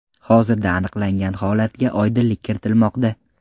Hozirda aniqlangan holatga oydinlik kiritilmoqda.